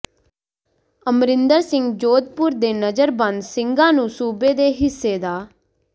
ਅਮਰਿੰਦਰ ਸਿੰਘ ਜੋਧਪੁਰ ਦੇ ਨਜ਼ਰਬੰਦ ਸਿੰਘਾਂ ਨੂੰ ਸੂਬੇ ਦੇ ਹਿੱਸੇ ਦਾ